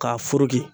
K'a